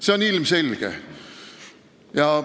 See on ilmselge.